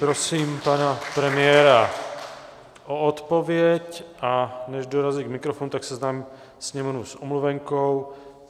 Prosím pana premiéra o odpověď a než dorazí k mikrofonu, tak seznámím sněmovnu s omluvenkou.